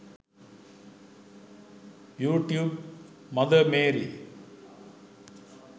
you tube mother Mary